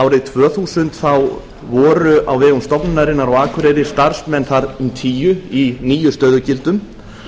árið tvö þúsund þá voru á vegum stofnunarinnar á akureyri starfsmenn þar um tíu í níu stöðugildum